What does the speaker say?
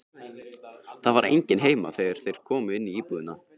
Það var enginn heima þegar þeir komu inn í íbúðina.